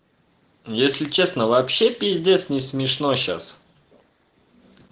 если честно вообще пиздец не смешно сейчас